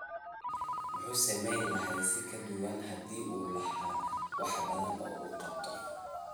muxuu samayn lahaa si ka duwan, haddii uu lahaa wax badan oo uu qabto.